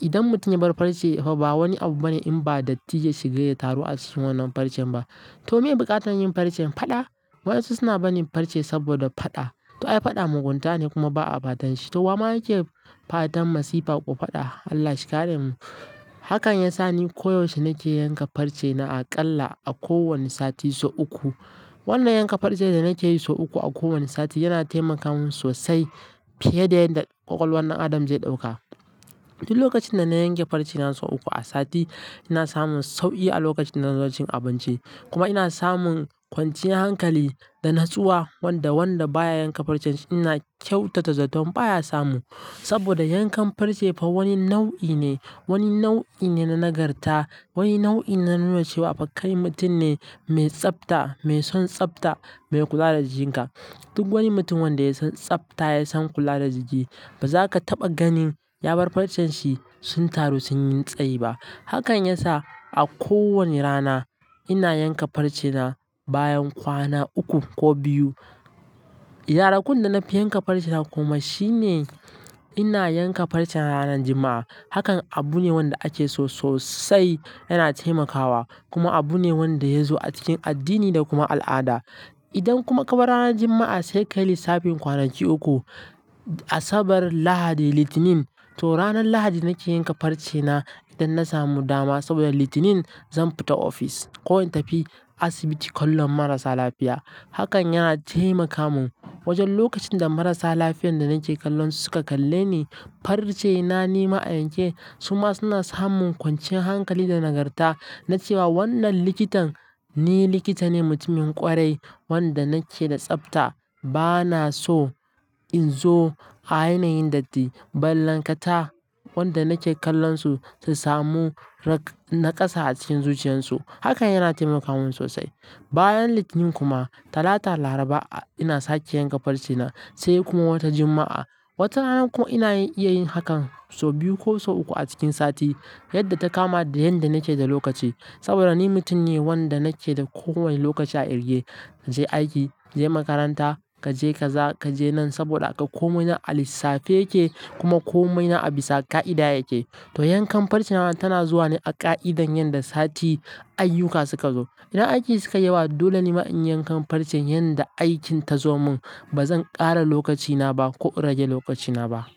Idan mutum ya bar farce fa ba wani abu bane in ba datti ya shiga ya taru a cikin wannan farcen ba. To me buƙatar yin farce faɗa? Waɗansu suna barin farce saboda faɗa. To ai faɗa mugunta ne kuma ba'a fatan shi. To wa ma yake fatan masifa ko faɗa? Allah shi kare mu. Hakan yasa ni koyaushe nake yanka farce na aƙalla a ko wane sati sau uku. Wannan yanka farce da nake yi sau uku a kowane sati yana taimaka mun sosai fiye da yadda ƙwaƙwalwar ɗan adam zai ɗauka. Duk lokacin da na yanke farce na sau uku a sati ina samun sauƙi a lokacin na zo cin abinci. Kuma ina samun kwanciyar hankali da natsuwa wanda wanda baya yanka farce ina kyautata zato baya samu. Saboda yankan farce fa wani nau'i ne, wani nau'i ne na nagarta, wani nau'i na nuna cewa abaka yi mutum ne mai tsabta, mai son tsabta, mai kula da jikinka. Duk wani mutum wanda ya san tsabta ya san kula da jiki. Ba za ka taɓa ganin ya bar farcen shi sun taru sun yi tsayi ba. Hakan yasa a ko wani rana ina yanka farce na bayan kwana uku ko biyu. Idan har kun da na fi yanka farce na kuma shine ina yanka farce na ranan Juma'a. Hakan abu ne wanda ake so sosai yana taimakawa kuma abu ne wanda ya zo a cikin addini da kuma al'ada. Idan kuma ka bar ranan Juma'a sai ka yi lissafin kwanaki uku, Asabar, Lahadi, Litinin. To ranan Lahadi nake yanka farce na idan na samu dama saboda Litinin zan fita ofis ko in tafi asibiti kallon marasa lafiya. Hakan yana taimaka mun wajen lokacin da marasa lafiyar da nake kallon su suka kalle ni, farce na nima a yanke su ma suna samun kwanciyar hankali da nagarta na cewa wannan likitan ni likita ne mutumin ƙwarai wanda nake da tsabta bana so in zo a yanayin datti. Balle ka ta wanda nake kallon su su samu rak na ƙasa a cikin zuciyan su. Hakan yana taimaka mun sosai. Bayan Litinin kuma Talata Laraba ina sake yanka farce na sai kuma wata Juma'a. Wata rana ko ina iya yin hakan sau biyu ko sau uku a cikin sati yadda ta kama da yadda nake da lokaci. Saboda ni mutum ne wanda nake da ko wane lokaci a irge. Ka je aiki, ka je makaranta, ka je ka za, ka je nan saboda ka komai na a lissafi yake kuma komai na a bisa ƙa'ida yake. To yankan farce na tana zuwa ne a ƙa'idar yadda sati ayyuka suka zo. Idan aiki suka yi yawa dole nima in yankan farce yadda aikin ta zo mun. Ba zan ƙara lokaci na ba ko rage lokaci na ba.